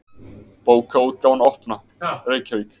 Bókaútgáfan Opna, Reykjavík.